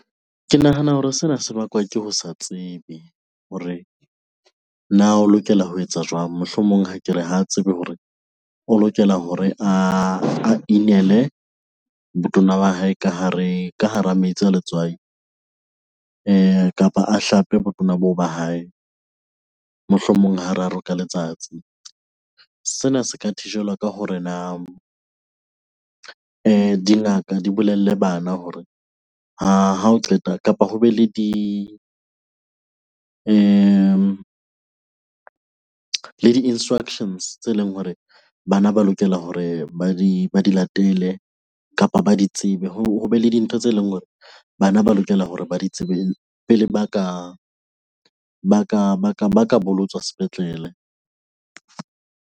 Ke nahana hore sena se bakwa ke ho sa tsebe hore na o lokela ho etsa jwang? Mohlomong ha ke re, ha tsebe hore o lokela hore a inele botona wa hae ka hare, ka hara metsi a letswai kapa a hlape botona boo ba hae mohlomong hararo ka letsatsi. Sena se ka thijelwa ka hore na dingaka di bolelle bana hore ha o qeta, kapa ho be le le di-instructions tse leng hore bana ba lokela hore ba di latele kapa ba di tsebe. Hobe le dintho tse leng hore bana ba lokela hore ba di tsebe pele ba ka bolotswa sepetlele.